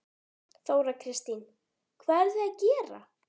Þóra Kristín: Hvað eruð þið að gera?